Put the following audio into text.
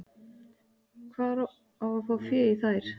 Hvar á að fá fé í þær?